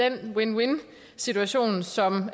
en win win situation som